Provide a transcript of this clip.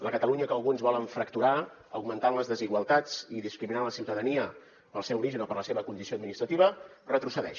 la catalunya que alguns volen fracturar augmentant les desigualtats i discriminant la ciutadania pel seu origen o per la seva condició administrativa retrocedeix